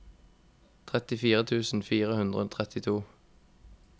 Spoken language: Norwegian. trettifire tusen fire hundre og trettito